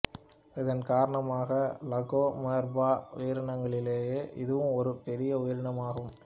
இதன் காரணமாக லகோமோர்பா உயிரினங்களிலேயே இதுவும் ஒரு பெரிய உயிரினம் ஆகும்